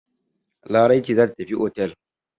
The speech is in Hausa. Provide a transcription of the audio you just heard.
Larai ce za tafi otel.